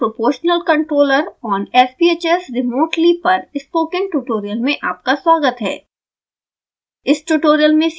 implementing proportional controller on sbhs remotely पर spoken tutorial में आपका स्वागत है